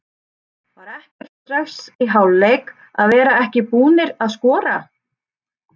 Var ekkert stress í hálfleik að vera ekki búnar að skora?